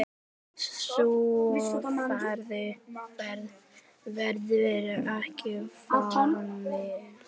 Sú ferð verður ekki farin.